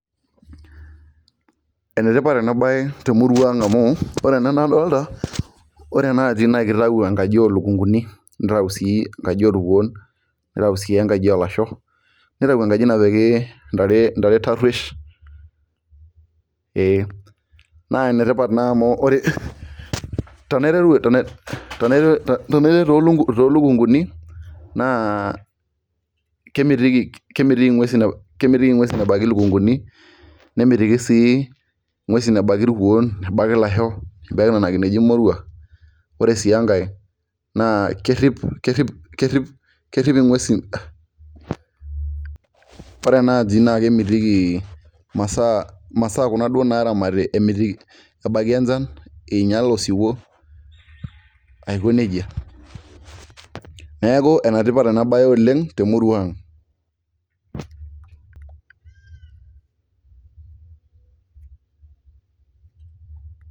Enetipat ena bae temurua ang' amu ore ena nadoolta ore ena naa kitayu enkaji oo lukunkuni nitau sii enkaji orkuon, nitau sii enkaji olasho, nitau sii enkaji napik, ntare taruosh, naa ene tipat naa amu tenaiteru too lukunkuni naa kemitiki nguesin ebaiki lukunkuni, nemitiki sii nguesin ebaiki irkuon ebaiki ilasho, ebaiki Nena kineji moruak ore sii enkae, naa kerip inguesin ore ena aji kemitiki imasaa ebaiki enchan, ningiala osiwuo Aiko nejia . neeku ene tipat ena bae oleng temurua ang'.